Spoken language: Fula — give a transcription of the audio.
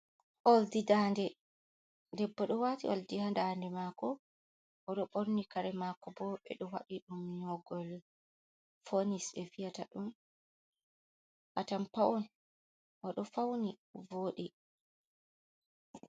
Oldi dande. Debbo ɗo waati oldi haa dande maako. Oɗo ɓorni kare maako bo, ɓe ɗo waɗi ɗum nƴogol fonis ɓe wiyata ɗum. Atampa on, oɗo fauni wooɗi.